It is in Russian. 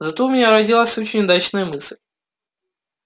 зато у меня родилась очень удачная мысль